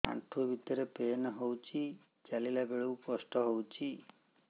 ଆଣ୍ଠୁ ଭିତରେ ପେନ୍ ହଉଚି ଚାଲିଲା ବେଳକୁ କଷ୍ଟ ହଉଚି